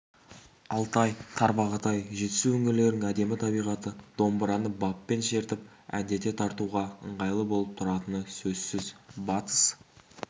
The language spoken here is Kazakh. алтай-тарбағатай жетісу өңірлерінің әдемі табиғаты домбыраны баппен шертіп әндете тартуға ыңғайлы болып тұратыны сөзсіз батыс